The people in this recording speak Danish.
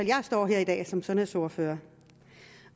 jeg står her i dag som sundhedsordfører